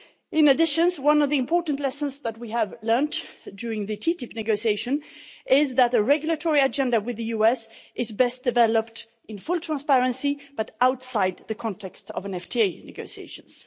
In addition, one of the important lessons that we have learnt during the TTIP negotiation is that the regulatory agenda with the US is best developed in full transparency, but outside the context of FTA negotiations.